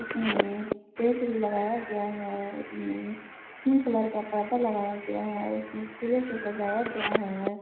इसमें टेंट भी लगाया गया है उसमें पिंक कलर का पर्दा लगाया गया है उसमें फूलों से सजाया गया है।